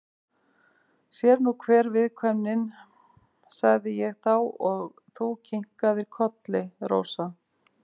Sér er nú hver viðkvæmnin, sagði ég þá og þú kinkaðir kolli, Rósa.